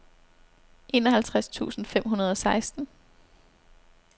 enoghalvtreds tusind fem hundrede og seksten